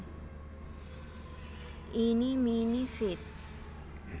Eenie Meenie feat